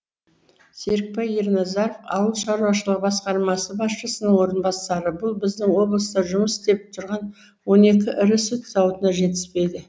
серікбай ерназаров ауыл шаруашылығы басқармасы басшысының орынбасары бұл біздің облыста жұмыс істеп тұрған он екі ірі сүт зауытына жетіспейді